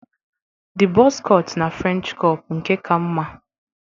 The buzz cut na French cop nke ka mma?